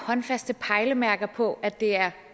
håndfaste pejlemærker på at det er